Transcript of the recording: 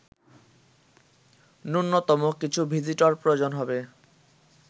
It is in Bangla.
ন্যুনতম কিছু ভিজিটর প্রয়োজন হবে